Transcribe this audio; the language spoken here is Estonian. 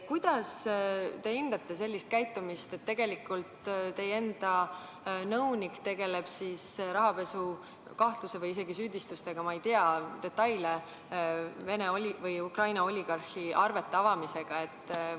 " Kuidas te hindate sellist käitumist, et teie enda nõunik tegeleb rahapesukahtluse või isegi -süüdistustega – ma ei tea detaile – Ukraina oligarhile arvete avamisega?